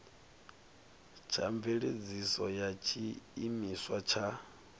tsha mveledziso ya tshiimiswa tsha